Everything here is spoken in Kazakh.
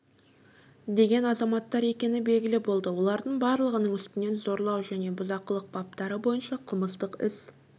деген азаматтар екені белгілі болды олардың барлығының үстінен зорлау және бұзақылық баптары бойынша қылмыстық іс